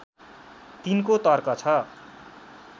तिनको तर्क छ